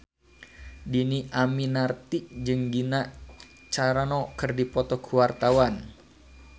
Dhini Aminarti jeung Gina Carano keur dipoto ku wartawan